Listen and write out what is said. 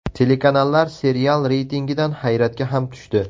Telekanallar serial reytingidan hayratga ham tushdi.